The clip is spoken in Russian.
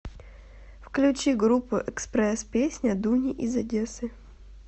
включи группу экспресс песня дуни из одессы